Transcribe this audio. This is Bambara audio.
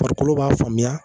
Farikolo b'a faamuya